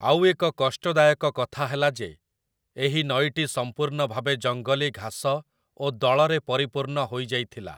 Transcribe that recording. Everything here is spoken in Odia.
ଆଉ ଏକ କଷ୍ଟଦାୟକ କଥା ହେଲା ଯେ, ଏହି ନଈଟି ସମ୍ପୂର୍ଣ୍ଣ ଭାବେ ଜଙ୍ଗଲୀ ଘାସ ଓ ଦଳରେ ପରିପୂର୍ଣ୍ଣ ହୋଇଯାଇଥିଲା ।